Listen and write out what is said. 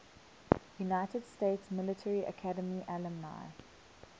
united states military academy alumni